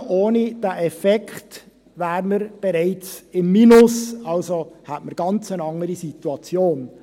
Ohne diesen Effekt wären wir bereits im Minus, hätten also wir eine ganz andere Situation.